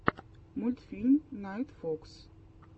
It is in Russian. мультфильм найтфокс